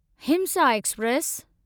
हिमसा express